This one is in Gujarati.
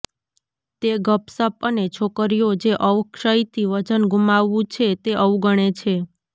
તે ગપસપ અને છોકરીઓ જે અવક્ષયથી વજન ગુમાવવું છે તે અવગણે છે